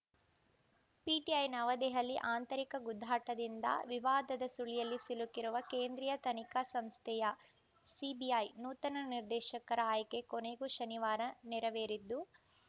PTI Navadehali ಆಂತರಿಕ ಗುದ್ದಾಟದಿಂದ ವಿವಾದದ ಸುಳಿಯಲ್ಲಿ ಸಿಲುಕಿರುವ ಕೇಂದ್ರೀಯ ತನಿಖಾ ಸಂಸ್ಥೆಯ ಸಿಬಿಐ ನೂತನ ನಿರ್ದೇಶಕರ ಆಯ್ಕೆ ಕೊನೆಗೂ ಶನಿವಾರ ನೆರವೇರಿದ್ದು